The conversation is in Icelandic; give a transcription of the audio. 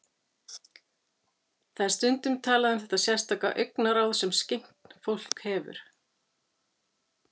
Það er stundum talað um þetta sérstaka augnaráð sem skyggnt fólk hefur.